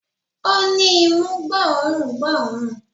Ó ni imú gbó òórùn gbóòórùn